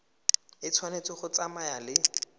e tshwanetse go tsamaya le